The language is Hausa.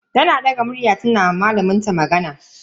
Tana daga murya tana ma malamin ta magana.